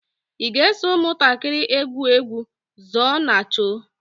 ị ga-eso ụmụntakịrị egwu egwu zóó na chó?